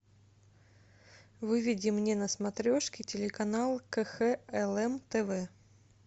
выведи мне на смотрешке телеканал кхлм тв